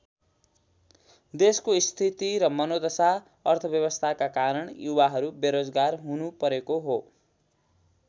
देशको स्थिति र मनोदशा अर्थव्यवस्थाका कारण युवाहरू बेरोजगार हुनु परेको हो।